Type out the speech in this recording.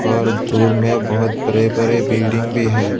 और दूर में बहुत बड़े बड़े बिल्डिंग भी है।